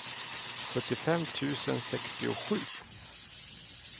sjuttiofem tusen sextiosju